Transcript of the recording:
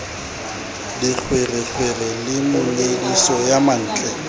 dikgwerekgwere le monyediso ya mantle